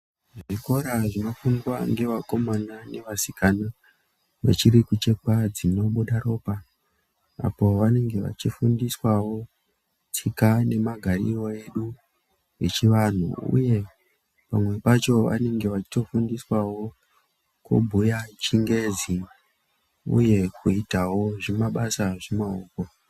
Zvikora zvinofundwa ngevakomana ngevasikana vachiri kuchekwa dzinobuda ropa. Apo vanenge vachifundiswavo tsika nemagariro edu echivantu, uye pamwe pacho vanenge vachitofundiswavo kubhuya chingezi, uye kuitavo zvimabasa zvemaoko.